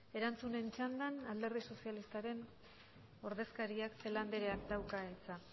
erantzunen txandan alderdi sozialistaren ordezkariak celaá andereak dauka hitza